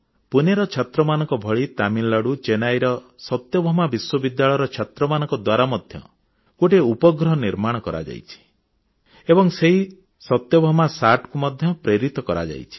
ପୁନେର ଛାତ୍ରମାନଙ୍କ ଭଳି ତାମିଲନାଡୁ ଚେନ୍ନାଇର ସତ୍ୟଭାମା ବିଶ୍ୱବିଦ୍ୟାଳୟର ଛାତ୍ରମାନଙ୍କ ଦ୍ୱାରା ମଧ୍ୟ ଗୋଟିଏ ଉପଗ୍ରହ ନିର୍ମାଣ କରାଯାଇଛି ଏବଂ ସେହି ସତ୍ୟଭାମା ଉପଗ୍ରହକୁ ମଧ୍ୟ ପ୍ରେରିତ କରାଯାଇଛି